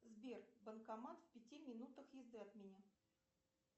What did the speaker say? сбер банкомат в пяти минутах езды от меня